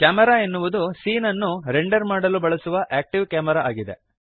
camera ಎನ್ನುವುದು scene ಅನ್ನು render ಮಾಡಲು ಬಳಸುವ ಆಕ್ಟಿವ್ ಕ್ಯಾಮೆರಾ ಆಗಿದೆ